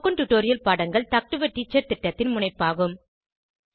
spoken tutorial பாடங்கள் talk to a teacher திட்டத்தின் முனைப்பாகும்